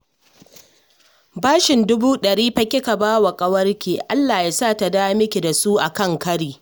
Bashin dubu ɗari fa kika ba wa ƙawarki! Allah ya sa ta dawo miki da su a kan kari